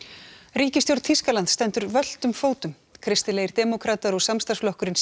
ríkisstjórn Þýskalands stendur völtum fótum kristilegir demókratar og samstarfsflokkurinn